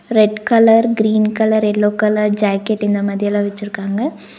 Red colour green colour yellow colour jacket இந்த மாதி எல்லா வச்சிருக்காங்க.